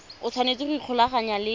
o tshwanetse go ikgolaganya le